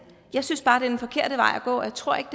jeg synes bare det er den forkerte vej at gå og jeg tror ikke